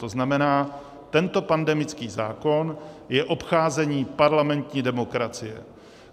To znamená, tento pandemický zákon je obcházení parlamentní demokracie.